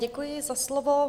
Děkuji za slovo.